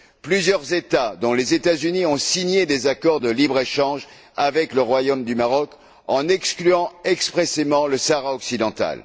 Plusieurs États dont les États Unis ont signé des accords de libre échange avec le Royaume du Maroc en excluant expressément le Sahara occidental.